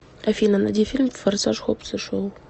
афина найди фильм форсаж хоббс и шоу